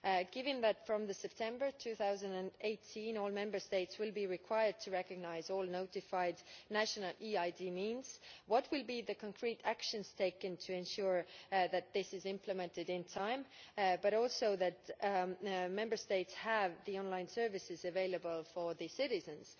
Given that from September 2018 all Member States will be required to recognise all notified national E ID means, what will be the concrete actions taken to ensure that this is implemented in time but also that Member States have the online services available for their citizens?